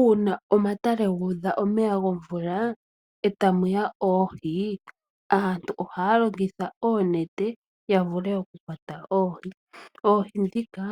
Uuna omatale ngudha omeya ngomvula otamuya oohii aantu ohalongitha oonete yavule okukwata oohii, oohii dhika